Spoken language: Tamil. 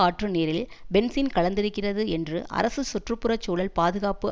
ஆற்று நீரில் பென்சீன் கலந்திருக்கிறது என்று அரசு சுற்று புற சூழல் பாதுகாப்பு